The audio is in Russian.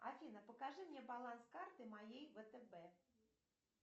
афина покажи мне баланс карты моей втб